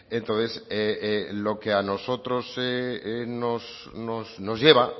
entonces lo que a nosotros nos lleva